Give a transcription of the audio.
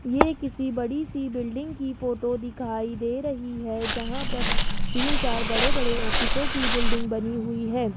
ये किसी बड़ी सी बिल्डिंग की फोटो दिखाई दे रही है जहां पर तीन चार बड़े बड़े ऑफिसों की बिल्डिंग बनी हुई है।